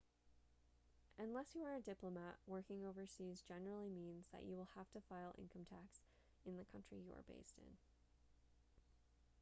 unless you are a diplomat working overseas generally means that you will have to file income tax in the country you are based in